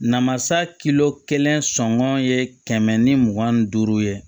Namasa kelen sɔngɔ ye kɛmɛ ni mugan ni duuru ye